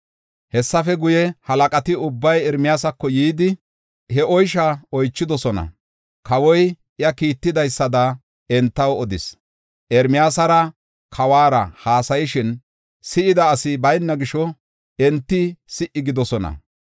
Hessafe guye, halaqati ubbay Ermiyaasako yidi, he oysha oychidosona. Kawoy iya kiittidaysada entaw odis; Ermiyaasara kawara haasayishin si7ida asi bayna gisho enti si77i gidoosona.